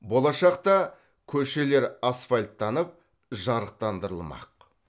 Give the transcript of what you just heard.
болашақта көшелер асфальттанып жарықтандырылмақ